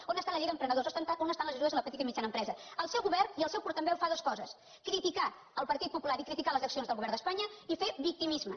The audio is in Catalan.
on està la llei d’emprenedors on estan les ajudes a la petita i mitjana empresa el seu govern i el seu portaveu fa dues coses criticar el partit popular i criticar les accions del govern d’espanya i fer victimisme